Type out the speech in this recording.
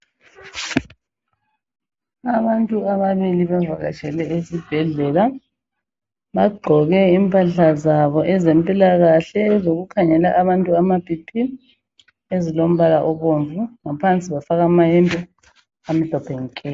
Abantu ababili bavatshele esibhedlela bagqoke impahla zabo ezempilakahle ezokukhangela abantu amaBP ezilombala obomvu ngaphansi bafaka mayembe amhlophe nke .